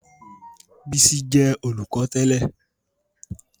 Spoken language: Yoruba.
Bísí jẹ́ olùkọ́ tẹ́lẹ̀